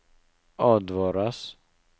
advares